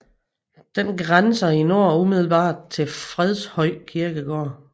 Den grænser i nord umiddelbart til Fredshøj Kirkegård